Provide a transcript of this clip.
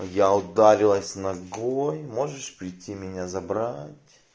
я ударилась ногой можешь прийти меня забрать